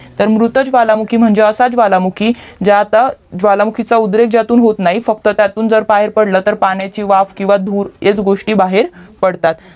तर मृत ज्वालामुखी म्हणजे असं ज्वालामुखी ज्याचा ज्वालामुखीचा उद्रेक ज्यातून होत नाही फक्त त्यातून बाहेर पडला तर पाण्याची वाफ किव्हा धूर हेच गोस्टी बाहेर पडतात